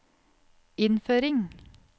innføring